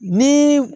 Ni